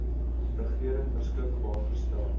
regering beskikbaar gestel